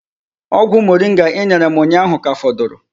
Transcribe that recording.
Ogwu moringa I nyere m unyahu ka foduru